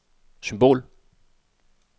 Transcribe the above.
symbol